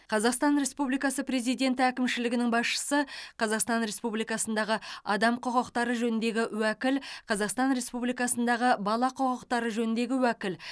қазақстан республикасы президенті әкімшілігінің басшысы қазақстан республикасындағы адам құқықтары жөніндегі уәкіл қазақстан республикасындағы бала құқықтары жөніндегі уәкіл